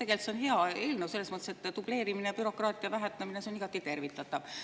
Tegelikult see on hea eelnõu, selles mõttes, et dubleerimise ja bürokraatia vähendamine on igati tervitatav.